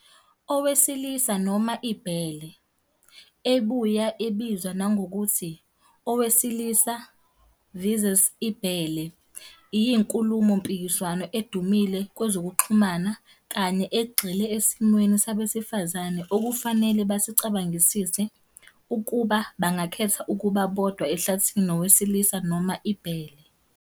"Owesilisa noma ibhele", ebuya ebizwa nangokuthi "owesilisa vs. ibhele", iyinkulumo-mpikiswano edumile kwezokuxhumana kanye ` egxile esimweni sabesifazane okufanele besicabangisise- ukuba bangakhetha ukuba bodwa ehlathini nowesilisa noma ibhele.